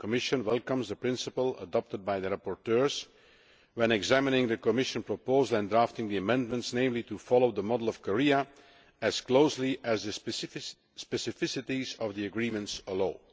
The Commission welcomes the principle adopted by the rapporteurs when examining the Commission proposal and drafting the amendments, namely of following the model of Korea as closely as the specificities of the agreements allow.